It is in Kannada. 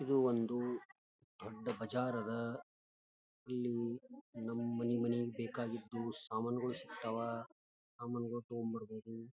ಇದು ಒಂದು ದೊಡ್ಡ ಬಜಾರ್ ಅದ ಇಲ್ಲಿ ನಮ್ಮನೆ ಗಳಲ್ಲಿ ಬೇಕಾದಿದ್ದೂ ಸಾಮಾನುಗಳು ಸಿಗ್ತಾವ ಅಮ್ಮಂಗ ಫೋನ್ ಮಾಡಬಹುದು .